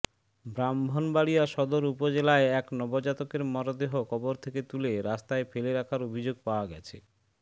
ব্রাহ্মণবাড়িয়া সদর উপজেলায় এক নবজাতকের মরদেহ কবর থেকে তুলে রাস্তায় ফেলে রাখার অভিযোগ পাওয়া গেছে